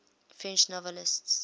french novelists